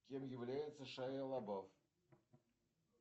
кем является шайа лабаф